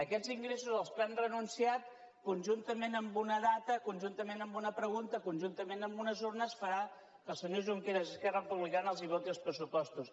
aquests ingressos als quals han renunciat conjuntament amb una data conjuntament amb una pregunta conjuntament amb unes urnes faran que el senyor junqueras esquerra republicana els voti els pressupostos